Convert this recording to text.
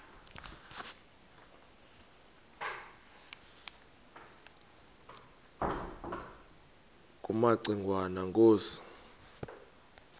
kumaci ngwana inkosi